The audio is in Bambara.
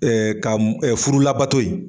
ka furu labato yen